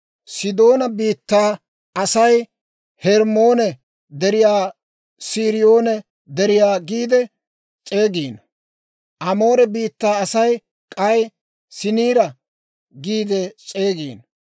(Sidoonaa biittaa Asay Hermmoone Deriyaa Siriyoone Deriyaa giide s'eegiino; Amoore biittaa Asay k'ay Saniira giide s'eegiino.)